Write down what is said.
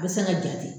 A bɛ se ka jate